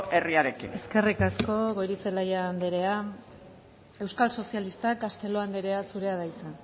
herriarekin eskerrik asko goirizelaia andrea euskal sozialistak castelo andrea zurea da hitza